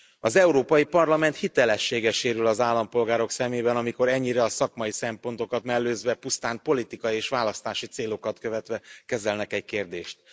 Az Európai Parlament hitelessége sérül az állampolgárok szemében, amikor ennyire a szakmai szempontokat mellőzve, pusztán politikai és választási célokat követve kezelnek egy kérdést.